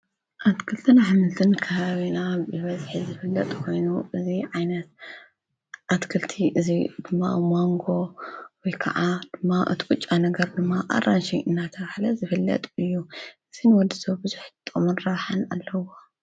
ኣትክልትነ ኣሕምልትነ ከባቢና ብበዝሕ ዝፍለጥ ኮይኑ እዚ ዓይነት ኣትክልት እዚ ድማ ማንጎ ወይካዓ እቲ ብጫ ነገረ ድማ ኣራኒሺ እናተባሂለ ዝፍለጥ ኮይኑ እዚ ንወድሰብ ቡዙሑ ጥቅምን ረብሓን ኣለዎ።